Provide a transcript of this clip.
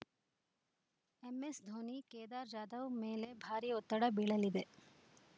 ಎಂಎಸ್‌ಧೋನಿ ಕೇದಾರ್‌ ಜಾಧವ್‌ ಮೇಲೆ ಭಾರೀ ಒತ್ತಡ ಬೀಳಲಿದೆ